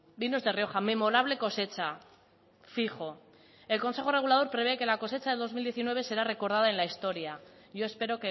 vinos de rioja memorable cosecha fijo el consejo regulador prevé que la cosecha de dos mil diecinueve será recordada en la historia yo espero